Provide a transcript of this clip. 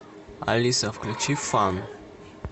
алиса включи фан